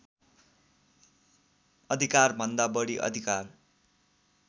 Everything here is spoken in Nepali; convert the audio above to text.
अधिकारभन्दा बढी अधिकार